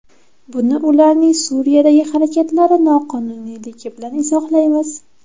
Buni ularning Suriyadagi harakatlari noqonuniyligi bilan izohlaymiz.